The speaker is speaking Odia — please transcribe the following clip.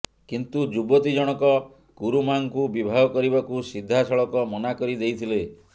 କିନ୍ତୁ ଯୁବତୀ ଜଣକ କୁରୁମାଙ୍କୁ ବିବାହ କରିବାକୁ ସିଧାସଳଖ ମନା କରି ଦେଇଥିଲେ